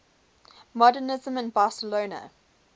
modernisme in barcelona